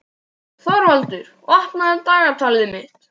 Þorvaldur, opnaðu dagatalið mitt.